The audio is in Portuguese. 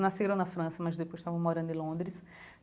Nasceram na França, mas depois estavam morando em Londres.